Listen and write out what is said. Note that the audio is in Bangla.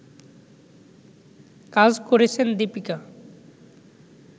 কাজ করেছেন দিপিকা